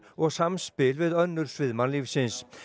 og samspil við önnur svið mannlífsins